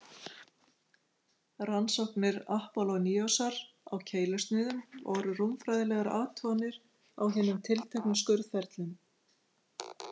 Rannsóknir Apollóníosar á keilusniðum voru rúmfræðilegar athuganir á hinum tilteknu skurðferlum.